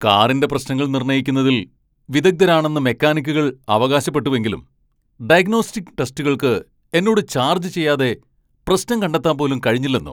കാറിന്റെ പ്രശ്നങ്ങൾ നിർണ്ണയിക്കുന്നതിൽ വിദഗ്ധരാണെന്ന് മെക്കാനിക്കുകൾ അവകാശപ്പെട്ടുവെങ്കിലും 'ഡയഗ്നോസ്റ്റിക് ടെസ്റ്റുകൾക്ക്' എന്നോട് ചാർജ് ചെയ്യാതെ പ്രശ്നം കണ്ടെത്താൻ പോലും കഴിഞ്ഞില്ലന്നോ?